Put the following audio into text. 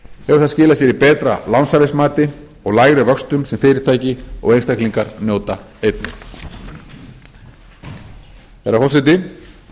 hefur það skilað sér í betra lánshæfismati og lægri vöxtum sem fyrirtæki og einstaklingar njóta einnig herra forseti